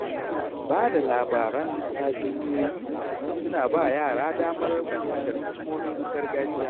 Bada labaran tatsuniyoyi suna ba yara damar fahimtar hikimomin gargajiya.